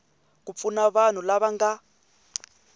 ku pfuna vanhu lava nga